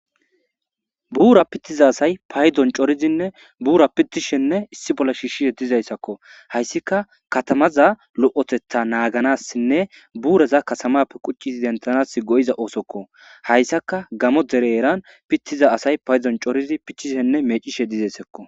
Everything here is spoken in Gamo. Bura pitiza asay bura pitishenne issi bolla shishishe dizaysako haysi katamaza lo'otetha naganasinne buraza katamappe qucidi denthana madiza oothokohaysaka gamo dera heran pitiza asay coridi pitishene mecishe dizaysako